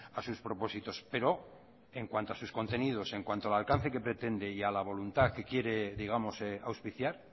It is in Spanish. a sus propósitos pero en cuanto a sus contenidos en cuanto al alcance que pretende y la voluntad que quiere digamos auspiciar